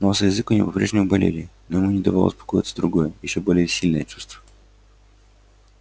нос и язык у него по прежнему болели но ему не давало успокоиться другое ещё более сильное чувство